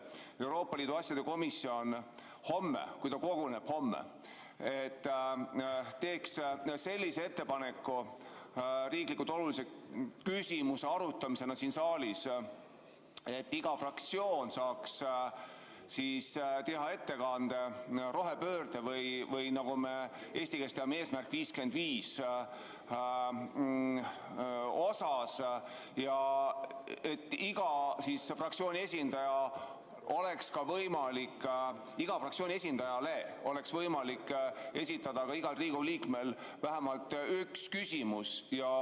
Euroopa Liidu asjade komisjon, kui ta homme koguneb, siis teeks sellise ettepaneku riiklikult olulise küsimuse arutamiseks siin saalis, kus iga fraktsioon saaks teha ettekande rohepöörde või nagu me eesti keeles teame, "Eesmärk 55" kohta ja iga fraktsiooni esindajale oleks igal Riigikogu liikmel võimalik esitada vähemalt üks küsimus.